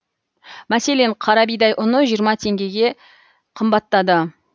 мәселен қара бидай ұны жиырма теңгеге қымбаттады